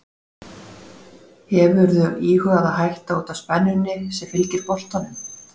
Hefurðu íhugað að hætta út af spennunni sem fylgir boltanum?